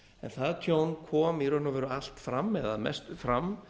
það tjón kom í raun og veru allt fram eða mest fram